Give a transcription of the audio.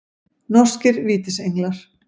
Norskir Vítisenglar.